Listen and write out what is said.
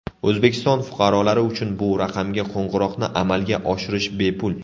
O‘zbekiston fuqarolari uchun bu raqamga qo‘ng‘iroqni amalga oshirish bepul.